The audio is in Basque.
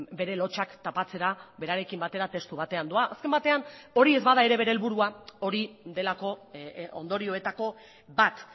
bere lotsak tapatzera berarekin batera testu batean doa azken batean hori ez bada ere bere helburua hori delako ondorioetako bat